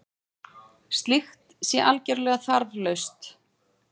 Slíkt sé algerlega þarflaust